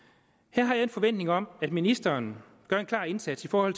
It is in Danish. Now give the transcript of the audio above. her har jeg en forventning om at ministeren gør en klar indsats for at